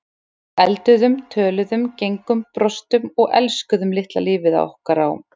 Við elduðum, töluðum, gengum, brostum og elskuðum litla lífið okkar á